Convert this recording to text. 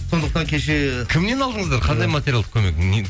сондықтан кеше кімнен алдыңыздар қандай материалдық көмек не